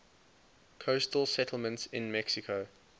coastal settlements in mexico